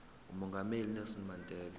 umongameli unelson mandela